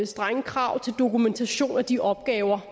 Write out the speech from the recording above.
strenge krav til dokumentation af de opgaver